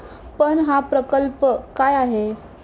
पण हा प्रकल्प काय आहे?